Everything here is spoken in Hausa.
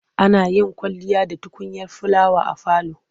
Ana yin kwalliya da tukunyar filawa a falo.